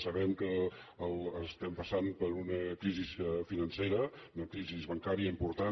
sabem que passem per una crisi financera una crisi bancària important